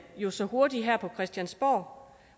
jo så hurtigt her på christiansborg